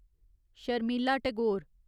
Sharmila Tagore